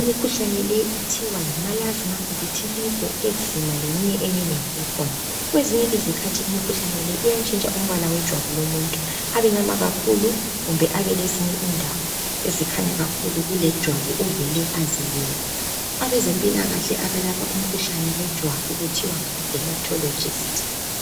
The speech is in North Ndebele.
imkhuhlane le kuthiwa yimalazima, vithiligo, ezima leminye eminengi ekhona. Kwenzinye izikhathi imikhuhlane le iyatshintsha umpala wejwabu lomuntu abemnyama kakhulu kumbe abelezinye indawo ezikhanya kakhulu kulejwabu ovele ezebe lalo. Abezempilakahle abelapha umkhuhlane yejwabu kuthiwa ngamademotholojisti.